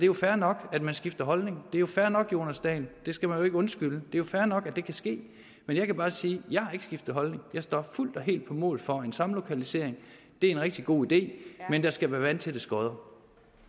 jo fair nok at man skifter holdning det er jo fair nok jonas dahl det skal man ikke undskylde det jo fair nok at det kan ske men jeg kan bare sige jeg har ikke skiftet holdning jeg står fuldt og helt på mål for en samlokalisering det er en rigtig god idé men der skal være vandtætte skotter